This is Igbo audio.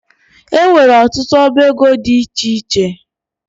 E nwere ọtụtụ ọbá égo dị iche iche